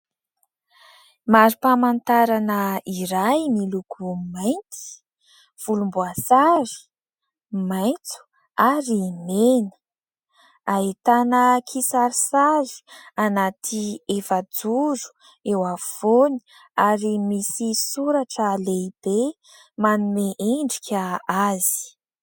Mari-pamantarana iray miloko mainty, volomboasary, maitso ary mena. Ahitana kisarisary anaty efajoro eo afovoany ary misy soratra lehibe manome endrika azy.